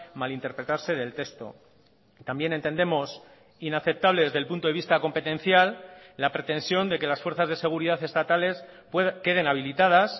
malinterpretarse del texto también entendemos inaceptable desde el punto de vista competencial la pretensión de que las fuerzas de seguridad estatales queden habilitadas